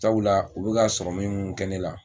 Cabula o bɛka sɔrɔmi min kɛ ne la.